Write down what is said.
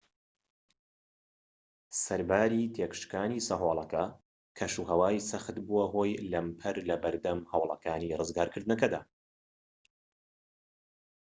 سەرباری تێكشکاندنی سەهۆڵەکە کەشوهەوای سەخت بووە هۆی لەمپەر لەبەردەم هەوڵەکانی ڕزگارکردنەکەدا